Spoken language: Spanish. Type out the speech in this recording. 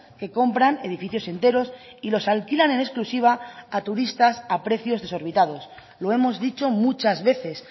que compran edificios enteros y los alquilan en exclusiva a turistas a precios desorbitados lo hemos dicho muchas veces